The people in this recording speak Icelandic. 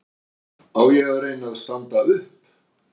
Á ég að reyna að standa upp?